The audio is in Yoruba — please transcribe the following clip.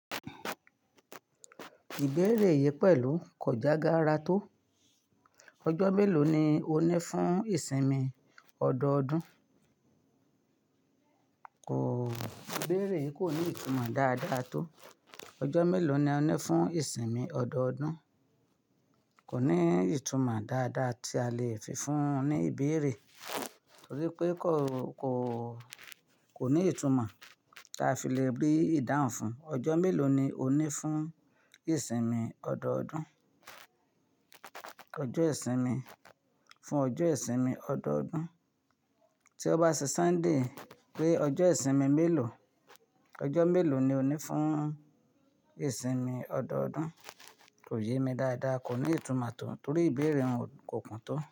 Ìbéèrè yìí pẹ̀lú kò já gaara tó. Ọjọ́ mélòó ni ó ní fún ìsinmi ọdọọdún? Kò, ìbéèrè yìí kò ní ìtumọ̀ dáadáa tó. Ọjọ́ mélòó ni ó ní fún ìsinmi ọdọọdún? Kò ní ìtumọ̀ dáadáa tí a lè fi fún un ní ìbéèrè, torí pé kò, kò, kò ní ìtumọ̀ ta fi le rí ìdáhùn fún. Ọjọ́ mélòó ni ó ní fún ìsinmi ọdọọdún? Ọjọ́ ìsinmi, fún ọjọ́ ìsinmi ọdọọdún, tí o bá ṣe Sunday pé ọjọ́ ìsinmi mélòó, ọjọ́ mélòó ni ó ní fún ìsinmi ọdọọdún, kò yé mi dáadáa, kò ní ìtumọ̀ tó, torí ìbéèrè n ko kùn tó.